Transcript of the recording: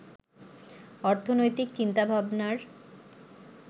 অর্থনৈতিক চিন্তাভাবনার